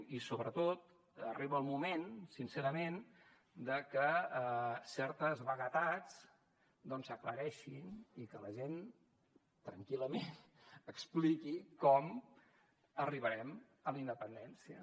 i sobretot arriba el moment sincerament de que certes vaguetats doncs s’aclareixin i que la gent tranquil·lament expliqui com arribarem a la independència